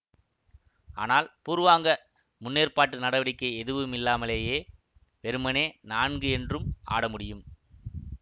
ஆனால் பூர்வாங்க முன்னேற்பாட்டு நடவடிக்கை எதுவுமில்லாமலயே வெறுமனே நான்கு என்றும் ஆடமுடியும்